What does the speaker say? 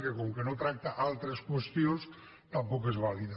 que com que no tracta altres qüestions tampoc és vàlida